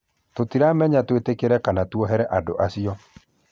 Tũtiramenya twĩtĩkĩre kana tuohere ũndũ ũcio